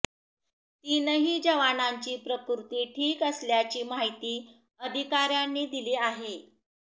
तीनही जवानांची प्रकृती ठीक असल्याची माहिती अधिकाऱ्यांनी दिली आहे